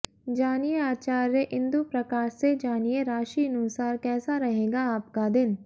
जानिए आचार्य इंदु प्रकाश से जानिए राशिनुसार कैसा रहेगा आपका दिन